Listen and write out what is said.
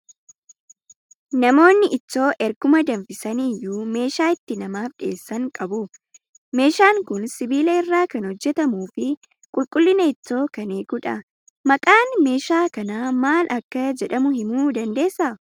Namoonni ittoo erguma danfisanii iyyuu meeshaa itti namaaf dhiyeessan qabu. Messhaan kun sibiila irraa kan hojjetamuu fi qulqullina ittoo kan eegudha. Maqaan meeshaa kanaa maal akka jedhamu himuu ni dandeessaa?